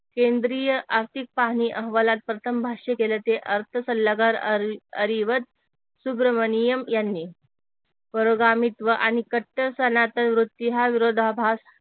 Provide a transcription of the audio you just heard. केंद्रीय आर्थिक पाहणी अहवालात प्रथम भाष्य केल ते अर्थ सल्लागार अरहरीवत सुब्रमणियम यांनी परगामित्व आणि कट्टर सनातन वृत्ती हा विरोधाभास